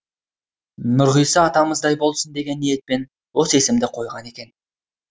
нұрғиса атамыздай болсын деген ниетпен осы есімді қойған екен